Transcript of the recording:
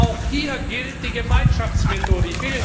Aber auch hier gilt die Gemeinschaftsmethode.